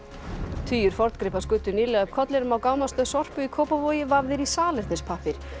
tugir forngripa skutu nýlega upp kollinum á Sorpu í Kópavogi vafðir í salernispappír